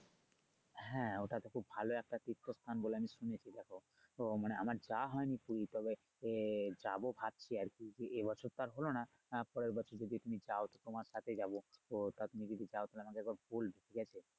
হ্যা ওটাতে খুব ভালো একটা তীর্থস্থান বলে আমি শুনেছি তখন তো মানে আমার যাওয়া হয়নি পুরি তবে আহ যাবো ভবছি আরকি এবছর তো আর হলো না আহ পরের বছর তুমি যদি যাও তোমার সাথে যাবো তো তুমি যদি যাও তাহলে আমাকে একবার বলবে ঠিক আছে